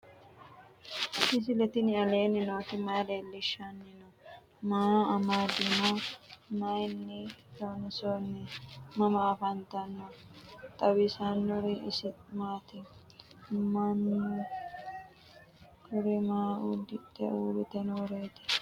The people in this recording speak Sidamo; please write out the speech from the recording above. misile tini alenni nooti maa leelishanni noo? maa amadinno? Maayinni loonisoonni? mama affanttanno? xawisanori isi maati? manoottu kuri maa udidhe uuritte nooreti?